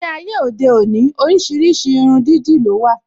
Ní ayé òde òní, oríṣiríṣi irun dídì ló wà